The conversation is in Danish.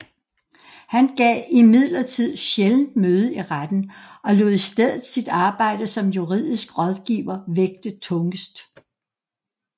Han gav imidlertid sjældent møde i retten og lod i stedet sit arbejde som juridisk rådgiver vægte tungest